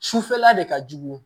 Sufɛla de ka jugu